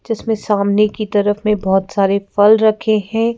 जिसमें सामने की तरफ में बहुत सारे फल रखे हैं।